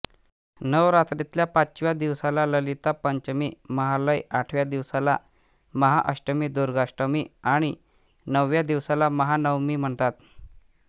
नवरात्रीतल्या पाचव्या दिवसाला ललिता पंचमी महालय आठव्या दिवसाला महाअष्टमी दुर्गाष्टमी आणि नवव्या दिवसाला महानवमी म्हणतात